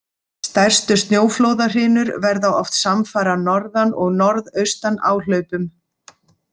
Stærstu snjóflóðahrinur verða oft samfara N- og NA-áhlaupum.